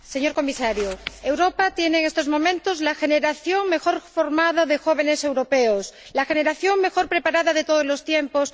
Señor Comisario, Europa tiene en estos momentos la generación mejor formada de jóvenes europeos, la generación mejor preparada de todos los tiempos.